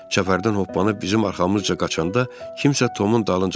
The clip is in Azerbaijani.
Çəpərdən hoppanıb bizim arxamızca qaçanda kimsə Tomun dalınca qışqırdı.